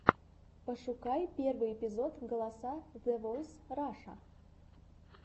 пошукай первый эпизод голоса зэ войс раша